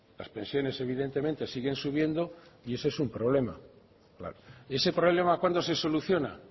las pensiones evidentemente siguen subiendo y eso es un problema ese problema cuándo se soluciona